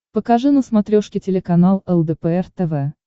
покажи на смотрешке телеканал лдпр тв